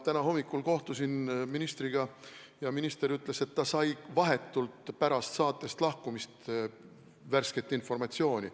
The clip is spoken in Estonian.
Täna hommikul ma kohtusin ministriga ja minister ütles, et ta sai vahetult pärast saatest lahkumist värsket informatsiooni.